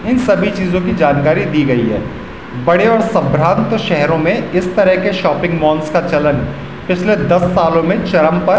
इन सभी चीजों की जानकारी दी गई है बड़े और सभ्रांत शहरों में इस तरह के शॉपिंग मॉल्स का चलन पिछले दस सालों मे चरम पर --